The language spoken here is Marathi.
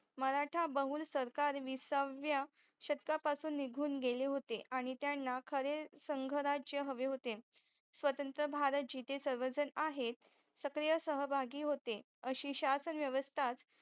मराठा बहुल सरकार विसाव्या शतकापासून निघून गेलेहोते आणि त्यांना खरे संघराज्य हवे होते स्वतंत्र भारत जीते सर्वजण आहेत सक्रिय सहभागी होतेअशी शासन व्यवस्ता